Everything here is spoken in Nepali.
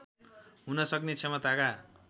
हुन सक्ने क्षमताका